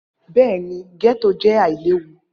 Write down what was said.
Bẹẹni, getto jẹ ailewu.